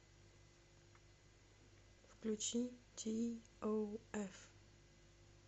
включи ти оу эф